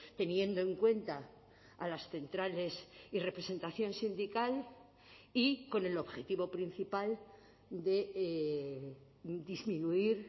teniendo en cuenta a las centrales y representación sindical y con el objetivo principal de disminuir